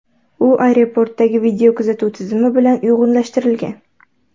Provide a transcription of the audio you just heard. U aeroportdagi videokuzatuv tizimi bilan uyg‘unlashtirilgan.